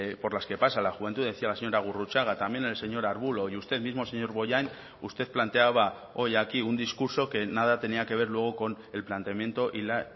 por las que pasa la juventud decía la señora gurrutxaga también el señor arbulo y usted mismo señor bollain usted planteaba hoy aquí un discurso que nada tenía que ver luego con el planteamiento y la